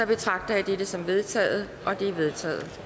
betragter jeg det som vedtaget det er vedtaget